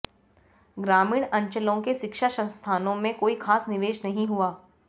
ग्रामीण अंचलों के शिक्षा संस्थानों में कोई खास निवेश नहीं हुआ